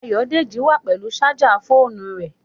Ayòdélẹ̀ wà pẹ̀lú sájà fọ̀ọ̣̀nú rẹ.